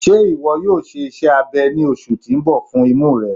Ṣe iwọ yoo ṣe iṣẹ abẹ ni oṣu ti n bọ imu rẹ?